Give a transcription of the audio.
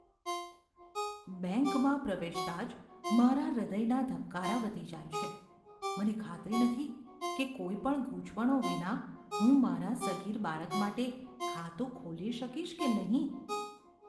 બેંકમાં પ્રવેશતાં જ મારા હૃદયના ધબકારા વધી જાય છે, મને ખાતરી નથી કે કોઈ પણ ગૂંચવણો વિના હું મારા સગીર બાળક માટે ખાતું ખોલી શકીશ કે નહીં.